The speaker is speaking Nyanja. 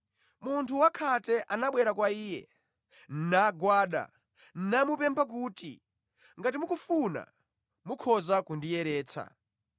Munthu wakhate anabwera kwa Iye, nagwada, namupempha kuti, “Ngati mukufuna, mukhoza kundiyeretsa.”